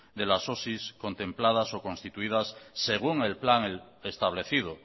de las osi contempladas o constituidas según el plan establecido